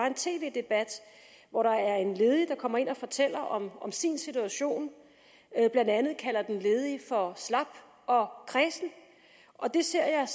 en tv debat hvor en ledig kommer ind og fortæller om sin situation blandt andet kalder den ledige for slap og kræsen det ser jeg